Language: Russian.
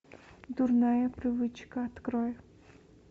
дурная привычка открой